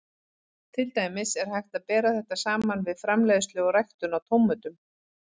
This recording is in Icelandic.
Til dæmis er hægt að bera þetta saman við framleiðslu og ræktun á tómötum.